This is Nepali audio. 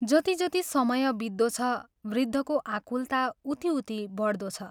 जति जति समय बित्दो छ, वृद्धको आकुलता उति उति बढ्दो छ।